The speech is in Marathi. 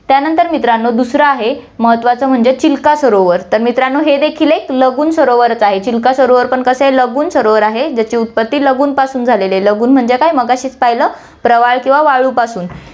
त्यानंतर मित्रांनो, दूसरा आहे, महत्वाचं म्हणजे चिल्का सरोवर, तर मित्रांनो, हे देखील एक लगून सरोवरच आहे, चिल्का सरोवर पण कसं आहे, लगून सरोवर आहे, ज्याची उत्पत्ति लगून पासून झालेली आहे, लगून म्हणजे काय मगाशीच पाहिलं, प्रवाळ किंवा वाळूपासून